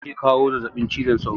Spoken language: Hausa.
Sauro ke kawo zazzabin cizon sauro.